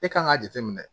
E kan k'a jateminɛ